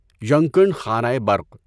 ینگکنڈ خانۂ برق